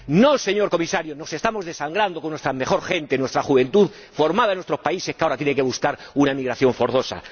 No, señor Comisario, nos estamos desangrando con nuestra mejor gente, con nuestra juventud formada en nuestros países, que ahora tiene que buscar una emigración forzosa.